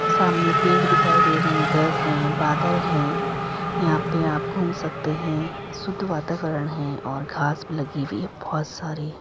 सामने पेड़ दिखाई दे रहे हैं घर हैं बादल हैं। यहां पे आप घूम सकते हैं। शुद्ध वातावरण है और घास भी लगी हुई है बोहत सारी।